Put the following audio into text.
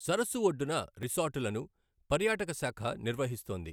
సరస్సు ఒడ్డున రిసార్టులను పర్యాటక శాఖ నిర్వహిస్తోంది.